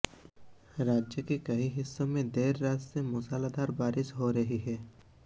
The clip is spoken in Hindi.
राज्य के कई हिस्सों में देर रात से मूसलाधार बारिश हो रही है